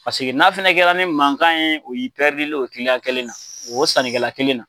Paseke n'a kɛla ni mankan ye o y'i len ye o kiliyan kelen na, o sannikɛla kelen na.